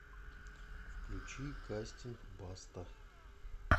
включи кастинг баста